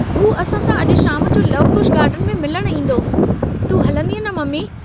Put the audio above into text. हू असां पाण सां अजु शाम जो लवकुश गार्डन में मिलण ईन्दो, तूं हलंदीअ न, ममी।